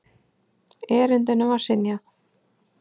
Erindinu var synjað.